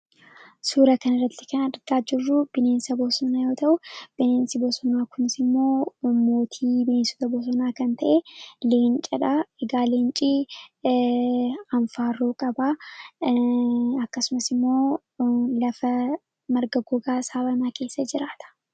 suura kan irratti kan argaa jirruu bineensa bosonaa yoo ta'u bineensi bosonaa kunis immoo mootii beneensota bosonaa kan ta'e leencadha egaa leencii anfaaruo qabaa akkasumas immoo lafa margagogaasaabamaa keessa jiraata